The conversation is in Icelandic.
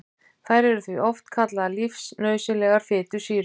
Þær eru því oft kallaðar lífsnauðsynlegar fitusýrur.